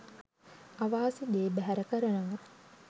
අවාසි දේ බැහැර කරනවා.